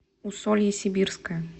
усолье сибирское